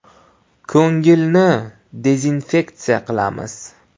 Ko‘ngilni “dezinfeksiya qilamiz”.